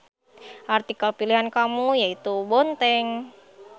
Artikel pilihan kamu yaitu Bonteng.